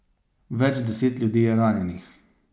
Več deset ljudi je ranjenih.